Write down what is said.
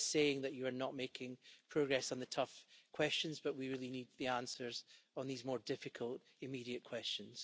No one is saying that you are not making progress on the tough questions, but we really need the answers on these more difficult immediate questions.